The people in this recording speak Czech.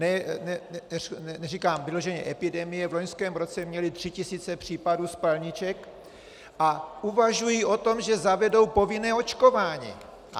Neříkám vyloženě epidemie - v loňském roce měli tři tisíce případů spalniček a uvažují o tom, že zavedou povinné očkování!